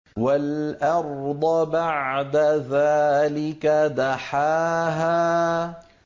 وَالْأَرْضَ بَعْدَ ذَٰلِكَ دَحَاهَا